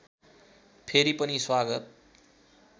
फेरि पनि स्वागत